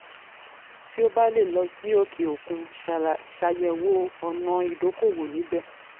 tí o um bá lè lọ sí òkè òkun ṣàyẹ̀wò ọ̀nà ìdókòwò níbẹ̀.